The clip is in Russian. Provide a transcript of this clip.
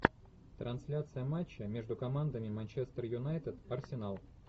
трансляция матча между командами манчестер юнайтед арсенал